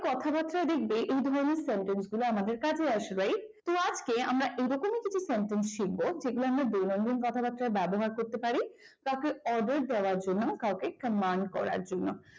কথাবার্তায় দেখবে এই সেন্টেন্স গুলোই আমাদের কাজে আসবে right words দিয়ে আমরা এরকমই কিছু sentence শিখব যেগুলোকে আমরা দৈনন্দিন কথাবাত্রা ব্যবহার করতে পার কাউকে order করার জন্য কাউকে command করার জন্য।